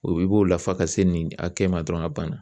O i b'o lafa ka se nin a kɛ ma dɔrɔn ka banna.